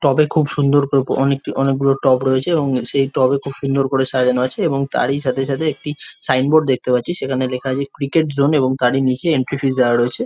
টব এ খুব সুন্দর করে অনেকটি অনেক গুলো করে টব রয়েছে এবং সেই টব এ খুব সুন্দর করে সাজানো আছে এবং তারই সাথে সাথে একটি সাইনবোর্ড দেখতে পাচ্ছি সখানে লেখা আছে ক্রিকেট জোন এবং তারই নিচে এন্ট্রি ফিস দেওয়া রয়েছে ।